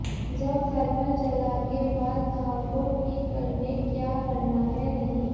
जब थर्मल जला के बाद घाव को ठीक करने क्या करना है नहीं